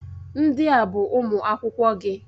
Ndị a bụ ụmụ akwụkwọ gị.